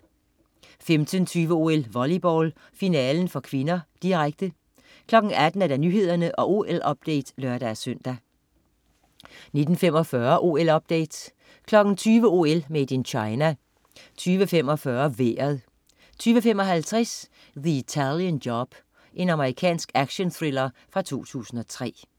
15.20 OL: Volleyball, finalen (k), direkte 18.00 Nyhederne og OL-update (lør-søn) 19.45 OL-update 20.00 OL: Made in China 20.45 Vejret 20.55 The Italian Job. Amerikansk actionthriller fra 2003